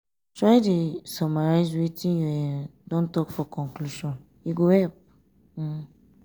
try dey summarize wetin you um don um talk for conclusion e go help. um